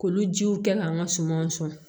K'olu jiw kɛ k'an ka sumanw sɔn